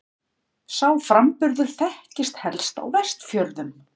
Sá framburður þekktist helst á Vestfjörðum.